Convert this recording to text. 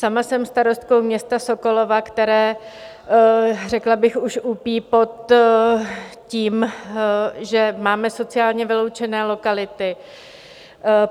Sama jsem starostkou města Sokolova, které řekla bych už úpí pod tím, že máme sociálně vyloučené lokality.